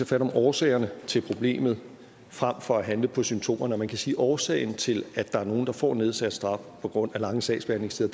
fat om årsagerne til problemet frem for at handle på symptomerne og man kan sige at årsagen til at der er nogle der får nedsat straf på grund af lange sagsbehandlingstider